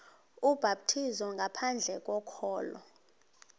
ubhaptizo ngaphandle kokholo